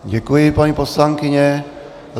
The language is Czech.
Děkuji, paní poslankyně.